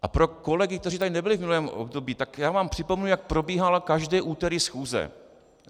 A pro kolegy, kteří tady nebyli v minulém období, tak já vám připomenu, jak probíhala každé úterý schůze.